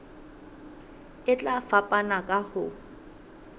e tla fapana ka ho